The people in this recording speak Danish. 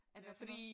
Af hvad for noget?